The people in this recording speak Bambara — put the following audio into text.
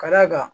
Ka d'a kan